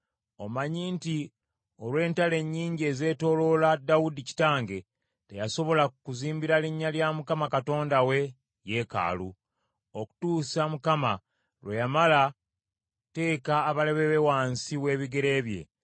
“Omanyi nti, Olw’entalo ennyingi ezeetooloola Dawudi kitange, teyasobola kuzimbira linnya lya Mukama Katonda we yeekaalu, okutuusa Mukama lwe yamala okuteeka abalabe be wansi w’ebigere bye.